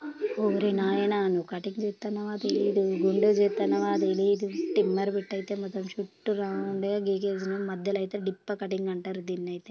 ఓరి నాయనా నువ్వు కటింగ్ చేతన్నవ తెలీదు గుండు చేతనవ తెలీదు ట్రిమ్మర్ పెట్టీ అయితే మొత్తం చుట్టూ రౌండ్ గికేసినవ్ మధ్యలో అయితే డిప్ప కటింగ్ అంటారు దీన్ని అయితే